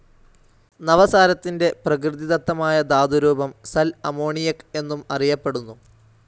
നവസാരത്തിൻ്റെ പ്രകൃതിദത്തമായ ധാതു രൂപം സൽ അമോണിയക് എന്നും അറിയപ്പെടുന്നു.